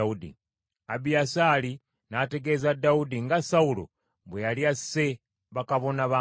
Abiyasaali n’ategeeza Dawudi nga Sawulo bwe yali asse bakabona ba Mukama .